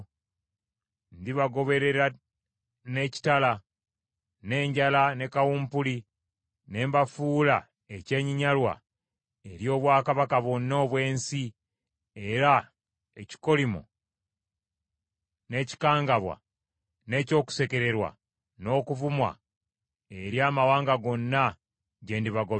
Ndibagoberera n’ekitala, n’enjala ne kawumpuli ne mbafuula ekyenyinyalwa eri obwakabaka bwonna obw’ensi era ekikolimo n’ekikangabwa, n’eky’okusekererwa n’okuvumwa eri amawanga gonna gye ndibagobera.